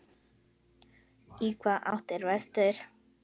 Í hvaða átt er vestur?